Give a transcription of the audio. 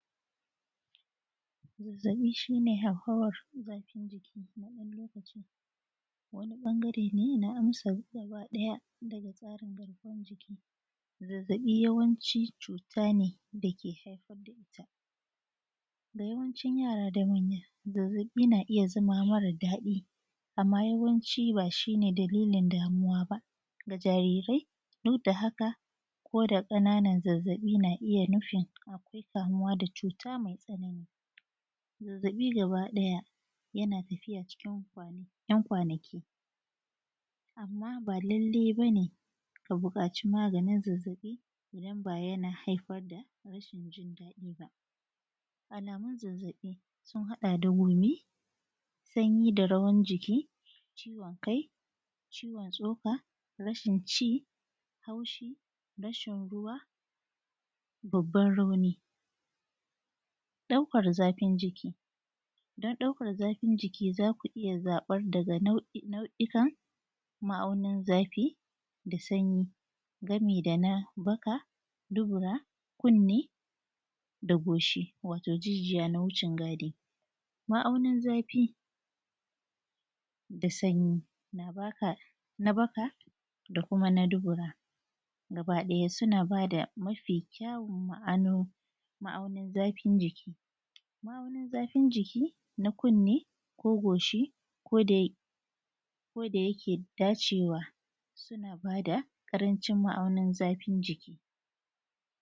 zazzaɓi shine hauhawar zafin jiki na ɗan lokacin wani ɓangare ne na amsa gaba ɗaya daga tsarin garkuwan jiki zazzaɓi yawanci cuta ne da ke haifar da ita da yawancin yara da manya zazzaɓi na iya zama mara daɗi amma yawanci ba shine dalilin damuwa ba ga jarirai duk da haka ko da ƙananan zazzaɓi na iya nufin akwai kamuwa da cuta mai tsanani zazzaɓi gaba ɗaya yana tafiya cikin ‘yan kwanaki amma ba lallai ba ne ka buƙaci maganin zazzaɓi idan ba yana haifar da rashin jin dadi ba alamun zazzaɓi sun haɗa gumi sanyi da rawan jiki ciwon kai ciwon tsoka rashin ci haushi rashin ruwa babbar rauni ɗaukar zafin jiki don ɗaukar zafin jiki za ku iya zaɓar daga nau’ikan ma'aunar zafi da sanyi gami da na baka dubura kunni da goshi wato jijiya na wucin gadi ma'aunar zafi da sanyi na baka da kuma na dubura gaba ɗaya suna ba da mafi kyawon ma'ano ma'aunin zafin jiki ma'aunin zafin jiki na kunni ko goshi ko da yake da cewa suna ba da karancin ma'aunin zafin jiki